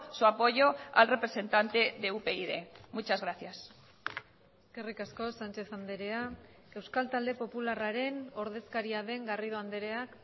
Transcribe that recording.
su apoyo al representante de upyd muchas gracias eskerrik asko sánchez andrea euskal talde popularraren ordezkaria den garrido andreak